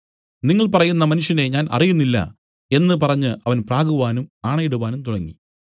നിങ്ങൾ പറയുന്ന മനുഷ്യനെ ഞാൻ അറിയുന്നില്ല എന്നു പറഞ്ഞ് അവൻ പ്രാകുവാനും ആണയിടുവാനും തുടങ്ങി